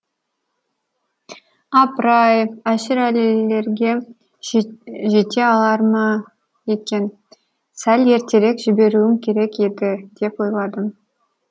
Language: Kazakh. апыр ай әшірәлілерге жете алар ма екен сәл ертерек жіберуім керек еді деп ойладым